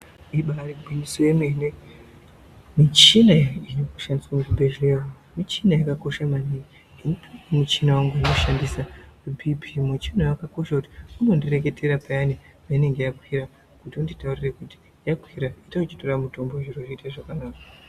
Ibari gwinyiso yemene michina inoshandiswa kuzvibhedhlera muchina yakakosha maningi. Ndine muchina wangu wandinoshandisa bhipii, muchina uyu wakakosha kuti unondireketera payani peinenge yakwira yonditaurira kuti yakwira ita uchitore mutombo zviro zvoite zvakanaka.